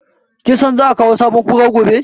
Kin san za a kawo sabon Kura gobe?